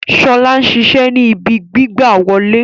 Sola ṣiṣẹ ni ìbí gbigbawole